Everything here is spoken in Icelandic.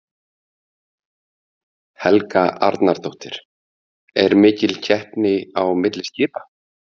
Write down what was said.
Helga Arnardóttir: Er mikil keppni á milli skipa?